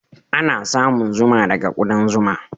Ana samun zuma daga kuɗan zuma.